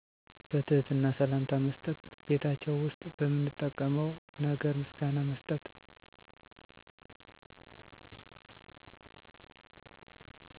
በትህትና ሰላምታ መስጠት ቤታቸው ውስጥ በምንጠቀመው ነገር ምስጋና መስጠት